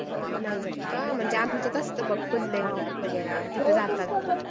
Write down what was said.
अ नाही जात का म्हणजे आमच्यात असत बघ वगैरा तिकडं जातात